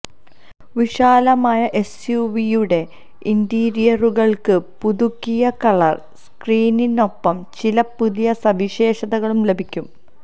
വിശാലമായ എസ്യുവിയുടെ ഇന്റീരിയറുകൾക്ക് പുതുക്കിയ കളർ സ്കീമിനൊപ്പം ചില പുതിയ സവിശേഷതകളും ലഭിക്കും